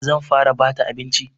Zan fara bata abinci.